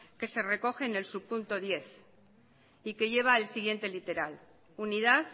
que se recoge en subpunto diez y que lleva el siguiente literal unidad